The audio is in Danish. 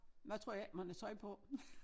Hvad troede ikke man havde tøj på